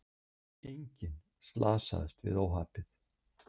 Enginn slasaðist við óhappið